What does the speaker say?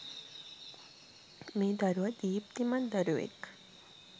මේ දරුවා දීප්තිමත් දරුවෙක්.